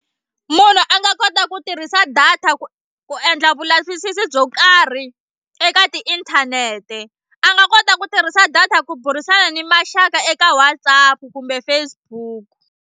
Munhu a nga kota ku tirhisa data ku ku endla vulavisisi byo karhi eka tiinthanete a nga kota ku tirhisa data ku burisana ni maxaka eka WhatsApp kumbe Facebook.